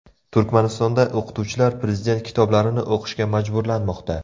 Turkmanistonda o‘qituvchilar prezident kitoblarini o‘qishga majburlanmoqda.